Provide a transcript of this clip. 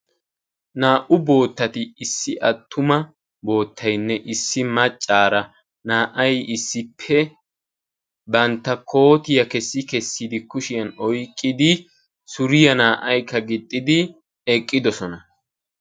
Naa''u boottati issi attuma boottaynne issi maccaara naa''ay issippe bantta kootiya kessi kessi kushiyan oyqqidi suriya naa"aykka gixxidi eqqidosona.